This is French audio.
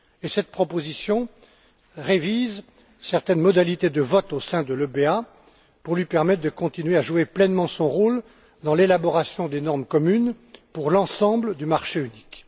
Cette proposition révise certaines modalités de vote au sein de l'ABE pour lui permettre de continuer à jouer pleinement son rôle dans l'élaboration des normes communes pour l'ensemble du marché unique.